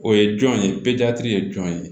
O ye jɔn ye ye jɔn ye